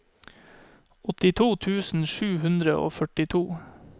åttito tusen sju hundre og førtito